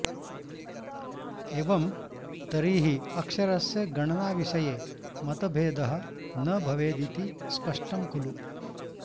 एवं तर्हि अक्षरस्य गणनाविषये मतभेदः न भवेदिति स्पष्टं खलु